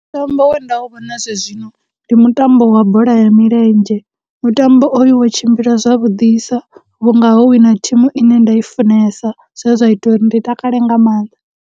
Mutambo we nda u vhona zwezwino, ndi mutambo wa bola ya milenzhe, mutambo oyu wo tshimbila zwavhudisa vhunga ho wina thimu ine nda i funesa, zwe zwa ita uri ndi takale nga mannḓa.